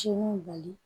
Ci mun bali